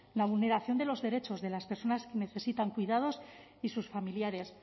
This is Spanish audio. la vulneración de los derechos de las personas que necesitan cuidados y sus familiares